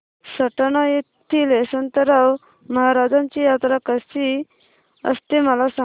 सटाणा येथील यशवंतराव महाराजांची यात्रा कशी असते मला सांग